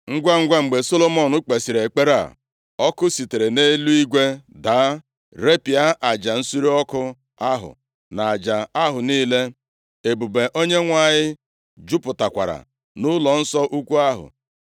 Ngwangwa, mgbe Solomọn kpesịrị ekpere a, ọkụ sitere nʼeluigwe daa repịa aja nsure ọkụ ahụ na aja ahụ niile. Ebube Onyenwe anyị jupụtakwara nʼụlọnsọ ukwu ahụ,